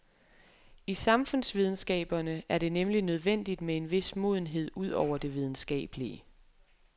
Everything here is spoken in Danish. I samfundsvidenskaberne er det nemlig nødvendigt med en vis modenhed ud over det videnskabelige.